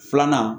Filanan